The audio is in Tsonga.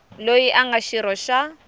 loyi a nga xirho xa